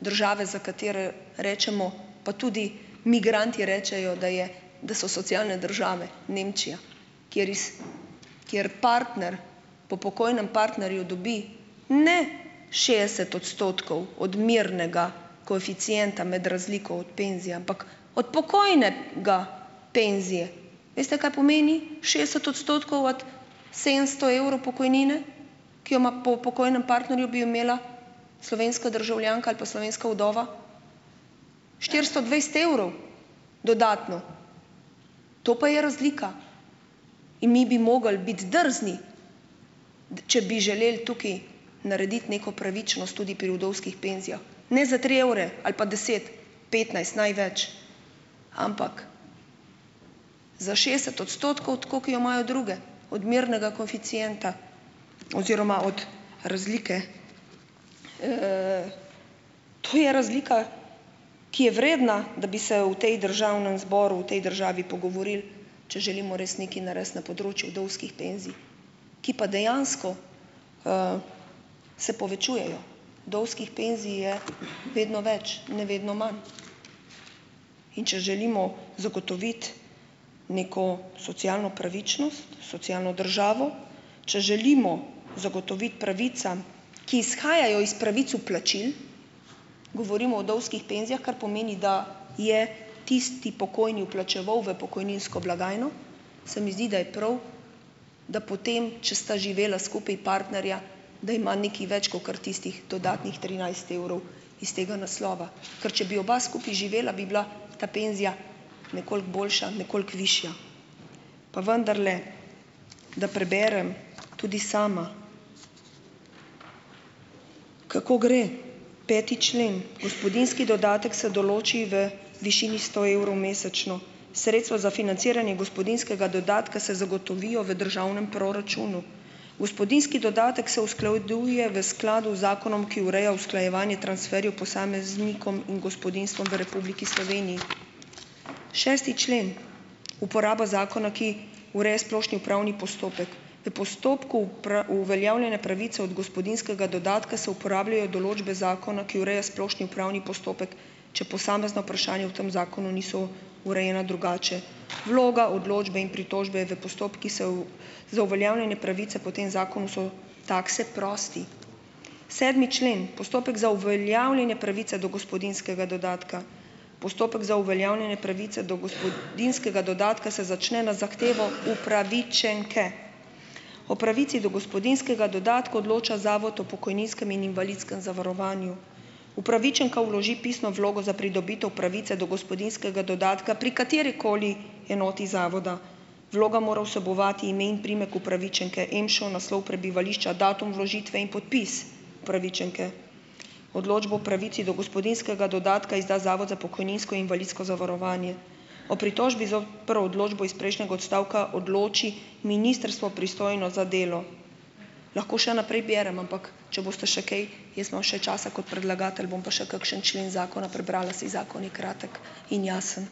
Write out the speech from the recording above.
države, za katere rečemo, pa tudi migranti rečejo, da je da so socialne države, Nemčija, kjer iz, kjer partner po pokojnem partnerju dobi ne šestdeset odstotkov odmernega koeficienta med razliko od penzije, ampak od pokojnega penzije. Veste, kaj pomeni šestdeset odstotkov od sedemsto evrov pokojnine, ki jo ima po pokojnem partnerju, bi jo imela slovenska državljanka ali pa slovenska vdova? Štiristo dvajset evrov dodatno! To pa je razlika. In mi bi mogli biti drzni, če bi želeli tukaj narediti neko pravičnost tudi pri vdovskih penzijah, ne za tri evre ali pa deset, petnajst največ, ampak za šestdeset odstotkov, tako kot jo imajo druge odmernega koeficienta oziroma od razlike. To je razlika, ki je vredna, da bi se v tej državnem zboru, v tej državi pogovorili, če želimo res nekaj narediti na področju vdovskih penzij, ki pa dejansko, se povečujejo, vdovskih penzij je vedno več, ne vedno manj. In če želimo zagotoviti neko socialno pravičnost, socialno državo, če želimo zagotoviti pravicam, ki izhajajo iz pravic vplačil, govorim o vdovskih penzijah, kar pomeni, da je tisti pokojni vplačeval v pokojninsko blagajno, se mi zdi, da je prav, da potem, če sta živela skupaj partnerja, da ima nekaj več kakor tistih dodatnih trinajst evrov iz tega naslova. Ker če bi skupaj živela, bi bila ta penzija nekoliko boljša, nekoliko višja. Pa vendarle, da preberem tudi sama. Kako gre peti člen? "Gospodinjski dodatek se določi v višini sto evrov mesečno. Sredstva za financiranje gospodinjskega dodatka se zagotovijo v državnem proračunu. Gospodinjski dodatek se usklajuje v skladu z zakonom, ki ureja usklajevanje transferjev posameznikom in gospodinjstvom v Republiki Sloveniji." Šesti člen. Uporaba zakona, ki ureja splošni upravni postopek. "V postopku uveljavljenja pravice od gospodinjskega dodatka se uporabljajo določbe zakona, ki ureja splošni upravni postopek, če posamezna vprašanja v tem zakonu niso urejena drugače. Vloga, odločbe in pritožbe v postopkih se v za uveljavljanje pravice po tem zakonu so takse prosti." Sedmi člen - postopek za uveljavljenje pravice do gospodinjskega dodatka. "Postopek za uveljavljanje pravice do gospodinjskega dodatka se začne na zahtevo upravičenke. O pravici do gospodinjskega dodatka odloča Zavod o pokojninskem in invalidskem zavarovanju. Upravičenka vloži pisno vlogo za pridobitev pravice do gospodinjskega dodatka pri katerikoli enoti zavoda. Vloga mora vsebovati ime in priimek upravičenke, EMŠO, naslov prebivališča, datum vložitve in podpis upravičenke. Odločbo o pravici do gospodinjskega dodatka izda Zavod za pokojninsko invalidsko zavarovanje. O pritožbi zo per odločbo iz prejšnjega odstavka odloči ministrstvo, pristojno za delo." Lahko še naprej berem, ampak če boste še kaj, jaz imam še časa kot predlagatelj, bom pa še kakšen člen zakona prebrala, saj zakon je kratek in jasen.